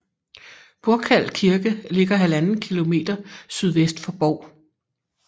Burkal Kirke ligger 1½ km sydvest for Bov